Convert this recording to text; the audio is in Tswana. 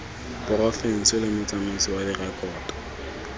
porofense le motsamaisi wa direkoto